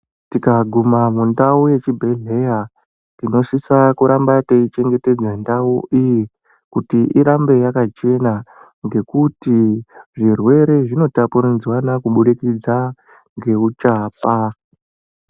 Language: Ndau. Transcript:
Tikaguma mundau yechibhedhleya tinosisa kuramba teichengetedza ndau iyi kuti irambe yakachena ngekutizvirwere zvinotapuridzwana kubudikidza ngeuchapa.